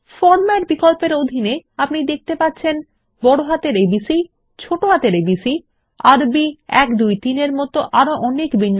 format বিকল্প এর অধীনে আপনি দেখতে পাচ্ছেন বড়হাতের এবিসি ছোট হাতের এবিসি আরবি ১ ২ ৩ এর মত আরো অনেক বিন্যাস